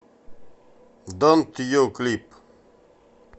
донт ю клип